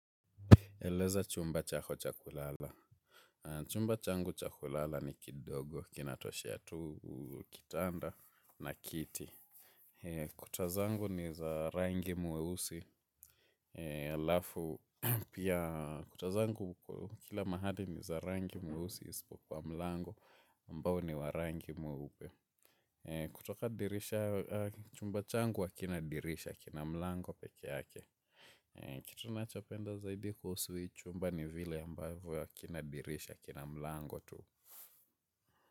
Eleza chumba chako cha kulala. Chumba changu cha kulala ni kidogo, kinatoshea tu, kitanda na kiti. Kuta zangu ni za rangi mweusi. Kuta zangu kila mahali ni za rangi mweusi isipokuwa mlango ambao ni wa rangi mweupe. Kutoka dirisha, chumba changu wa kina dirisha, kina mlango peke ake. Kitu nachopenda zaidi kuhusu hii chumba ni vile ambavyo hakina dirisha kina mlango tu.